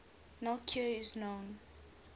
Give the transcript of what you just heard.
no cure is known